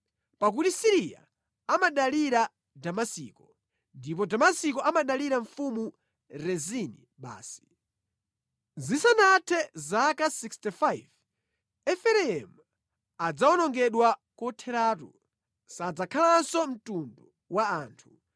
pakuti Siriya amadalira Damasiko, ndipo Damasiko amadalira mfumu Rezini basi. Zisanathe zaka 65 Efereimu adzawonongedwa kotheratu, sadzakhalanso mtundu wa anthu.